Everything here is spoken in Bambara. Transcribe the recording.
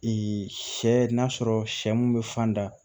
sɛ n'a sɔrɔ sɛ mun be fan da